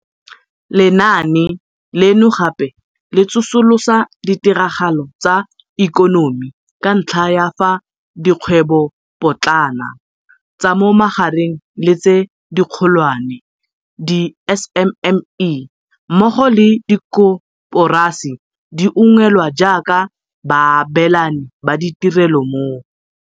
Lenaane leno gape le tsosolosa ditiragalo tsa ikonomi ka ntlha ya fa dikgwebopotlana, tsa mo magareng le tse dikgolwane, di-SMME, mmogo le dikoporasi di ungwelwa jaaka baabelani ba ditirelo mo